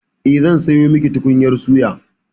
Eh, zan sayo miki tukunyar suya.